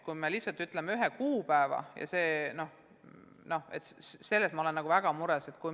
Kui me lihtsalt ütleksime ühe kuupäeva, siis ma oleksin väga mures.